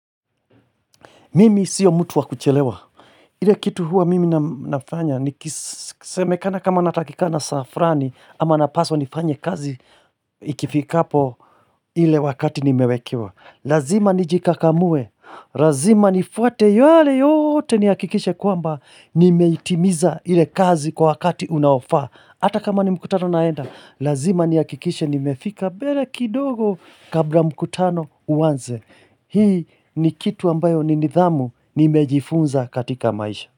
Mimi sio mtu wa kuchelewa. Ile kitu huwa mimi nafanya. Semekana kama natakikana saa fulani. Ama napaswa nifanye kazi. Ikifika po ile wakati nimewekewa. Lazima nijikakamue. Lazima nifuate yale yote niyakikishe kwamba. Nimeitimiza ile kazi kwa wakati unaofaa. Hata kama ni mkutano naenda. Lazima niyakikishe ni mefika mbele kidogo. Kabla mkutano uanze. Hii ni kitu ambayo ni nidhamu. Nimejifunza katika maisha.